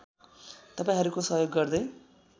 तपाईँहरूको सहयोग गर्दै